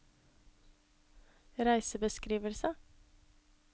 reisebeskrivelse